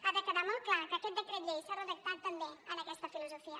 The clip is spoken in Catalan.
ha de quedar molt clar que aquest decret llei s’ha redactat també amb aquesta filosofia